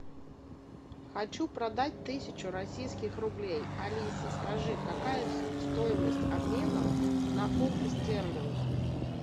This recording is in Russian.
хочу продать тысячу российских рублей алиса скажи какая стоимость обмена на фунты стерлинга